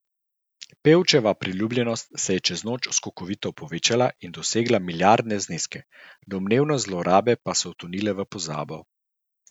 Pevčeva priljubljenost se je čez noč skokovito povečala in dosegla milijardne zneske, domnevne zlorabe pa so utonile v pozabo.